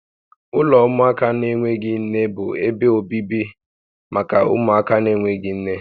Ụlọ ụmụaka na-enweghị nne bụ ebe obibi maka ụmụaka na-enweghị nne